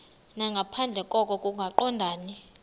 nangaphandle koko kungaqondani